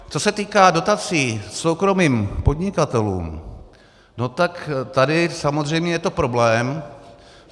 Co se týká dotací soukromým podnikatelům, no tak tady samozřejmě je to problém.